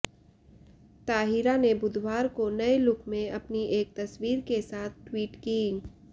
ताहिरा ने बुधवार को नए लुक में अपनी एक तस्वीर के साथ ट्वीट की